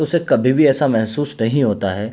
उसे कभी भी ऐसा महसूस नहीं होता है।